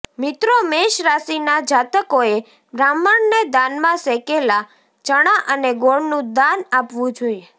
મિત્રો મેષ રાશિના જાતકોએ બ્રાહ્મણને દાનમાં શેકેલા ચણા અને ગોળનું દાન આપવું જોઈએ